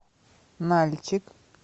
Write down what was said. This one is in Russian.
нальчик